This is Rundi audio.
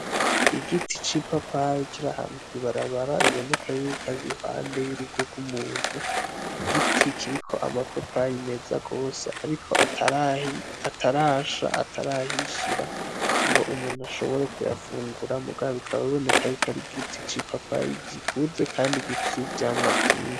Igiti c’ipapayi kiri ahantu kw’ibarabara biboneka kw’ari uruhunde y’urugo rw’umuntu. Igiti kiriko ama papayi meza gose ariko atarasha , atarahishira ngo umuntu ashobore kuyafungura bikaba biboneka ko ari igiti ci papayi gikuze kandi gifise ivyamwa vyinshi.